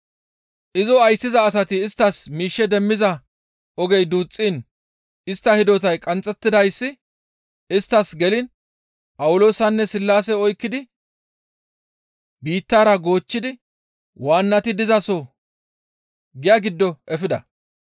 Izo ayssiza asati isttas miishshe demmiza ogey duuxxiin istta hidotay qanxxettidayssi isttas geliin Phawuloosanne Sillaase oykkidi biittara goochchidi waannati dizaso giya giddo efida.